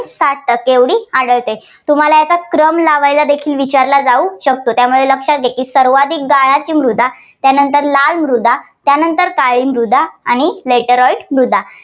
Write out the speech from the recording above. सात टक्के एवढी आढळते. तुम्हाला याचा क्रम लावायचा देखील विचारला जाऊ शकतो. त्यामुळे लक्षात घ्या सर्वाधिक गाळाची मृदा, त्यानंतर लाल मृदा, त्यानंतर काळी मृदा आणि laterite मृदा.